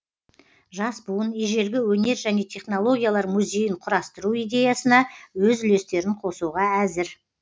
жас буын ежелгі өнер және технологиялар музейін құрастыру идеясына өз үлестерін қосуға әзір